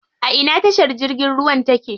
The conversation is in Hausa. A ina tashar jirgin ruwan take?